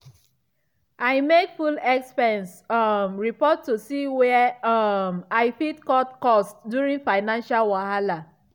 i make full expense um report to see where um i fit cut cost during financial wahala.